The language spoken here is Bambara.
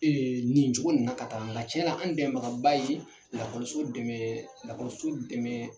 Ee nin cogo in na tan ta nga cɛnan an bɛmɛbagaba ye lakɔliso dɛmɛɛ lakɔso dɛmɛɛ